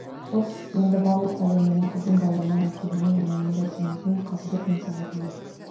хош енді барлық пәле менің қызым баяннан екеніне иманындай сенетін қазыбек мырзаға келейік